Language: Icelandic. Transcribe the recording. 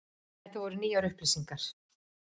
Þetta voru nýjar upplýsingar.